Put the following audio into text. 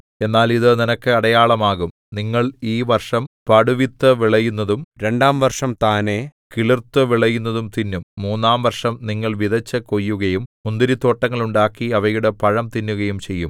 എന്നാൽ ഇതു നിനക്ക് അടയാളമാകും നിങ്ങൾ ഈ വർഷം പടുവിത്തു വിളയുന്നതും രണ്ടാം വർഷം താനെ കിളുർത്തുവിളയുന്നതും തിന്നും മൂന്നാം വർഷം നിങ്ങൾ വിതച്ചു കൊയ്യുകയും മുന്തിരിത്തോട്ടങ്ങൾ ഉണ്ടാക്കി അവയുടെ പഴം തിന്നുകയും ചെയ്യും